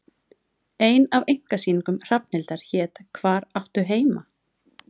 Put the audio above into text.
Ein af einkasýningum Hrafnhildar hét Hvar áttu heima?